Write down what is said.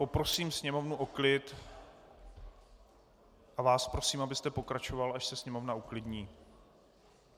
Poprosím sněmovnu o klid a vás prosím, abyste pokračoval, až se sněmovna uklidní.